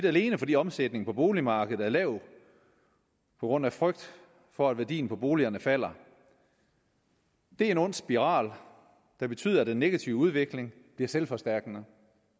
alene fordi omsætningen på boligmarkedet er lav på grund af frygt for at værdien af boligerne falder det er en ond spiral der betyder at den negative udvikling bliver selvforstærkende